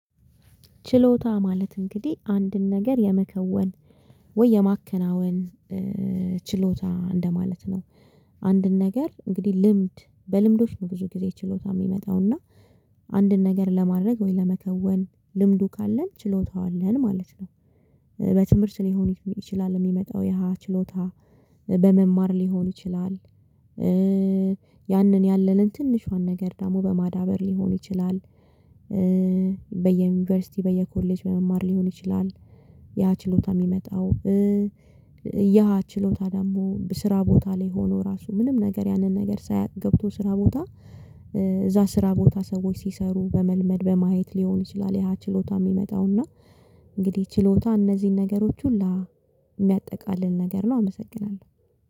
ችሎታ ማለት እንግዲህ አንድን ነገር የመከወን ወይ የማከናወን ችሎታ እንደማለት ነው አንድን ነገር እንግዲህ ልምድ በልምዶች ነው ብዙ ጊዜ ችሎታ የሚመጣውና አንድን ነገር ለማድረግ ወይ ለመከወን ልምዱ ካለን ችሎታው አለን ማለት ነው። በትምህርት ሊሆን ይችላል የሚመጣው ያ ችሎታ በመማር ሊሆን ይችላል ያንን ያለልን ትንሿን ነገር ደግሞ በማዳበር ሊሆን ይችላል፣ በየዩኒቨርሲቲ በየኮሌጅ በመማር ሊሆን ይችላል ያ ችሎታ የሚመጣው ያ ችሎታ ደግሞ በስራ ቦታ ላይ ሆኖ ራሱ ምንም ነገር ያንን ነገር ሳያቅ ገብቶ ስራ ቦታ እዛ ስራ ቦታ ሰዎች ሲሰሩ በመልመድ በማየት ሊሆን ይችላል ያ ችሎታ የሚመጣውና እንግዲህ ችሎታ እነዚህን ነገሮች ሁሉ የሚያጠቃልል ነገር ነው አመሰግናለሁ።